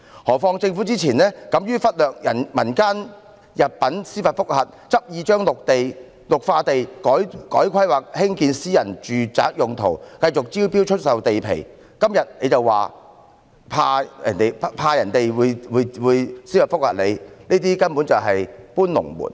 再者，政府之前敢於忽略民間入稟的司法覆核，執意把綠化地改劃作興建私人住宅用途，繼續招標出售地皮，今天卻說擔心會有司法覆核，這根本是"搬龍門"。